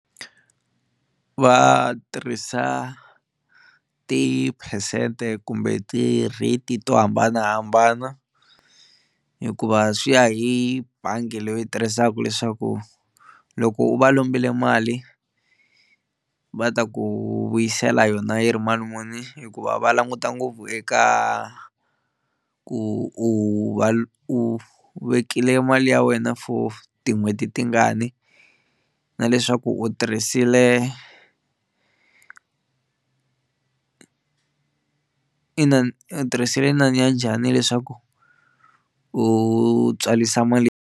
Va tirhisa tiphesente kumbe ti-rate to hambanahambana hikuva swi ya hi bangi leyi u tirhisaka leswaku loko u va lombile mali va ta ku vuyisela yona yi ri mali muni hikuva va languta ngopfu eka ku u va u vekile mali ya wena for tin'hweti tingani na leswaku u tirhisile inani u tirhisile inani ya njhani leswaku u tswalisa mali.